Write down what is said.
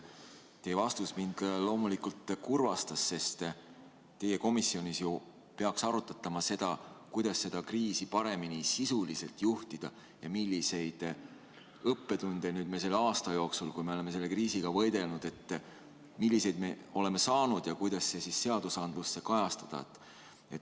Teie vastus mind loomulikult kurvastas, sest teie komisjonis ju peaks arutatama, kuidas seda kriisi paremini sisuliselt juhtida ja milliseid õppetunde me selle aasta jooksul, kui oleme kriisiga võidelnud, oleme saanud ja kuidas neid seadustes kajastada.